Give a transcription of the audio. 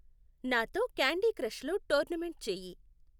నాతో క్యాండీ క్రష్లో టోర్నమెంట్ చెయ్యి .